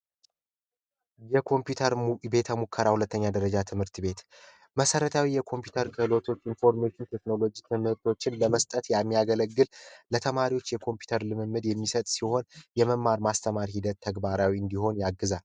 የኮምፒውተር ሙከራ ሁለተኛ ደረጃ ትምህርት ቤት መሰረታዊ የኮምፒውተር ክህሎቶችን ለመስጠት የሚያገለግል ለተማሪዎች የኮምፒውተር ልምምድ የሚሰጥ ሲሆን የመማር ማስተማር ሂደቱ ተግባራዊ እንዲሆን ያግዛል።